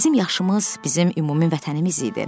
Bizim yaşımız bizim ümumi vətənimiz idi.